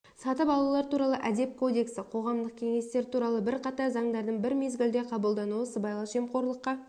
сатып алулар туралы әдеп кодексі қоғамдық кеңестер туралы бірқатар заңдардың бір мезгілде қабылдануы сыбайлас жемқорлыққа